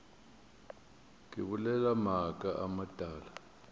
ke bolela maaka a matala